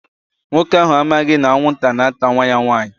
Nwoke ahụ amaghị na anwụnta na-ata nwa ya nwanyị.